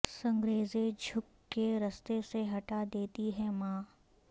سنگریزے جھک کے رستے سے ہٹا دیتی ہے ماں